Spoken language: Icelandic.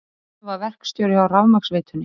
Finnur var verkstjóri hjá rafmagnsveitunni.